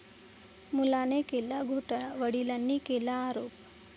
मुलाने केला घोटाळा, वडिलांनी केला आरोप